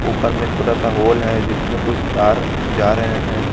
ऊपर में छोटा सा होल है जिसमें कुछ तार जा रहे हैं।